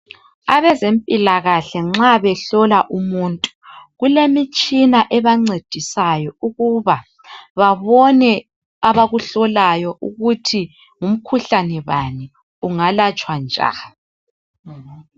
Abezempilakahle nxa behlola umuntu kulemitshina ebancedisayo ukuba babone abakuhlolayo ukuthi ngumkhuhlane bani, ungalatshwa njani.